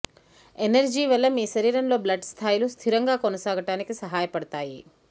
energy వల్ల మీ శరీరంలో బ్లడ్ స్థాయిలు స్థిరంగా కొనసాగటానికి సహాయపడుతాయి